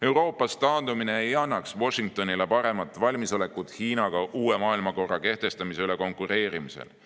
Euroopast taandumine ei annaks Washingtonile paremat valmisolekut Hiinaga uue maailmakorra kehtestamise üle konkureerimisel.